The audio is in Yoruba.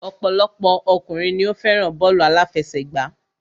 Ọ̀pọ̀lọpọ̀ ọkùnrin ni o fẹ́ràn bọ́ọ̀lù àláfẹsẹ̀gbá.